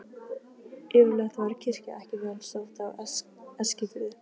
Yfirleitt var kirkja ekki vel sótt á Eskifirði.